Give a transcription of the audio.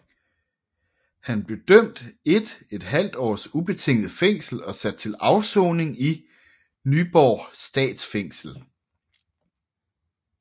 Han blev idømt 1½ års ubetinget fængsel og sat til afsoning i Nyborg Statsfængsel